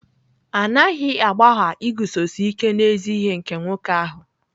A naghị agbagha iguzosi ike n'ezi ihe nke nwoke ahụ.